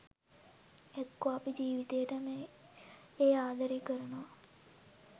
එක්කො අපි ජිවිතේටම ඒ ආදරේ කරනවා